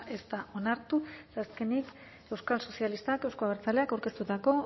ez da onartu eta azkenik euskal sozialistak euzko abertzaleak aurkeztutako